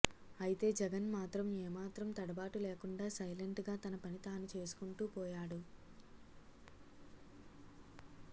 అయితే జగన్ మాత్రం ఏ మాత్రం తడబాటు లేకుండా సైలెంట్ గా తన పని తాను చేసుకుంటూపోయాడు